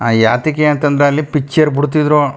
ಆಹ್ಹ್ ಯಾತಕಿಯ ಅಂತ ಅಂದ ಅಲ್ಲಿ ಪಿಕ್ಚರ್ ಬಿಡ್ ತಿದ್ರು.